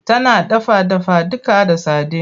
Tana dafa dafaduka da sadin.